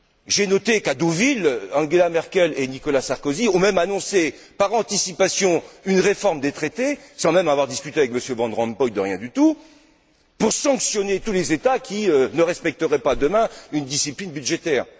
J'ai noté qu'à Deauville, Angela Merkel et Nicolas Sarkozy ont même annoncé par anticipation une réforme des traités, sans même avoir discuté de quoi que ce soit avec M. van Rompuy, pour sanctionner tous les États qui ne respecteraient pas demain une discipline budgétaire.